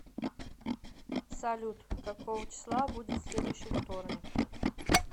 салют какого числа будет следующий вторник